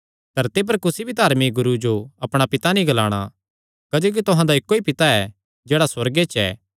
धरती पर कुसी भी धार्मिक गुरू जो अपणा पिता नीं ग्लाणा क्जोकि तुहां दा इक्को ई पिता ऐ जेह्ड़ा सुअर्गे च ऐ